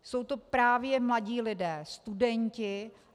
Jsou to právě mladí lidé, studenti.